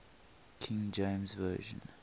king james version